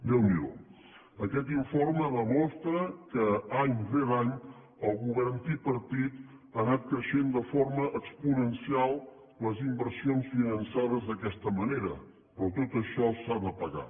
déu n’hi do aquest informe demostra que any rere any el govern tripartit ha anat creixent de forma exponencial les inversions finançades d’aquesta manera però tot això s’ha de pagar